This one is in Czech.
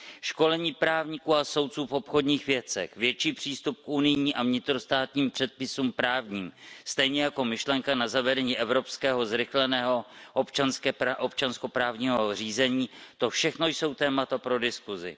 Školení právníků a soudců v obchodních věcech, větší přístup k unijním a vnitrostátním předpisům právním stejně jako myšlenka na zavedení evropského zrychleného občanskoprávního zřízení, to všechno jsou témata pro diskusi.